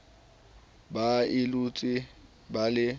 ba le utswe ba le